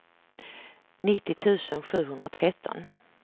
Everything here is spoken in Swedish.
nittio tusen sjuhundratretton